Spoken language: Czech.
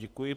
Děkuji.